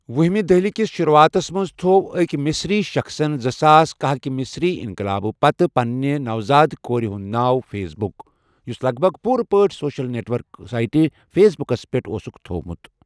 وُہمہِ دٔہلہِ کِس شروٗعاتَس منٛز تھوٚو أکۍ مصری شخٕصَن زٕ ساس کاہٕکۍ مصری انقلاب پتہٕ پننہِ نوزاد کورِ ہُنٛد ناو 'فیس بک'، یُس لگ بَگ پوٗرٕ پٲٹھۍ سوشل نیٹ ورکنگ سائٹ فیس بُکَس پیٹھ اوسُکھ تھوٚومُت۔